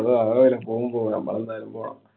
അങ്ങനാവൂല. പോവും പോവും നമ്മലെന്തായാലും പോണം.